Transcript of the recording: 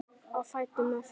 Á fætur með þig!